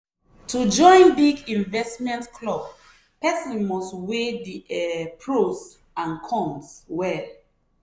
constant money wahala don make her dey worry and no sabi wetin go happen next.